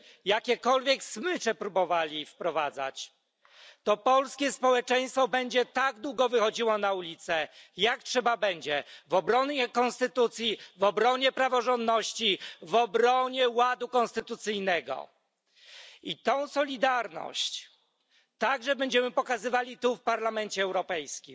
jakiekolwiek smycze próbowali wprowadzać, to polskie społeczeństwo będzie tak długo wychodziło na ulice, jak długo będzie trzeba, w obronie konstytucji, w obronie praworządności, w obronie ładu konstytucyjnego, i tę solidarność także będziemy pokazywali tu w Parlamencie Europejskim,